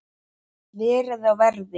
Verið á verði.